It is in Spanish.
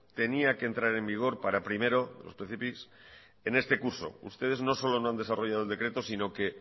tenía que entrar en vigor para primero en este curso ustedes no solo no han desarrollado el decreto sino que